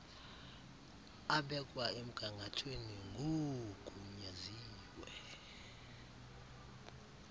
abekwa emgangathweni ngoogunyaziwe